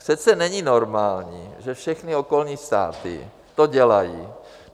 Přece není normální, že všechny okolní státy to dělají.